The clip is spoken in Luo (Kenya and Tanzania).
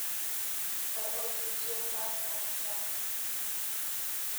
E odiechieng’ mar kayo cham, .